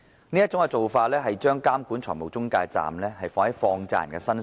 這種做法其實把監管財務中介的責任置於放債人身上。